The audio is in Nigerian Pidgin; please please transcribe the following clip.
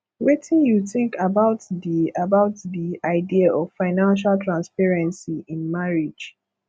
wetin you think about di about di idea of financial transparency in marriage